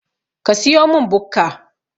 Ka siyomin Bukka